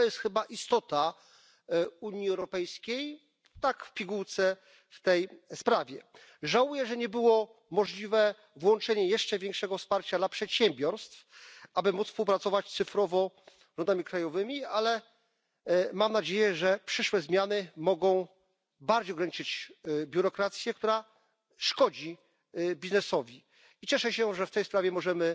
I to jest chyba istota Unii Europejskiej, tak w pigułce, w tej sprawie. Żałuję, że niemożliwe było włączenie jeszcze większego wsparcia dla przedsiębiorstw, aby móc współpracować cyfrowo z podmiotami krajowymi, ale mam nadzieję, że przyszłe zmiany mogą bardziej ograniczyć biurokrację, która szkodzi biznesowi. Cieszę się, że w tej sprawie możemy